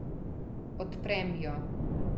Odprem jo.